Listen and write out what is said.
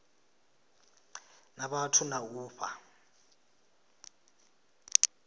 na vhathu na u fha